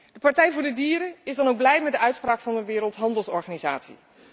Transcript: De Partij voor de Dieren is dan ook blij met de uitspraak van de Wereldhandelsorganisatie.